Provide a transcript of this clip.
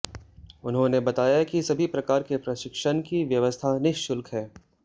उन्होंने बताया कि सभी प्रकार के प्रशिक्षण की व्यवस्था निःशुल्क है